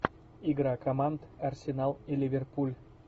игра команд арсенал и ливерпуль